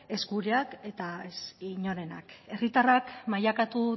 ez gureak eta ez inorenak herritarrak mailakatu